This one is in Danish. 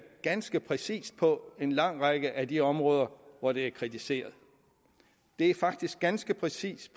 ganske præcist på en lang række af de områder hvor det er kritiseret det er faktisk ganske præcist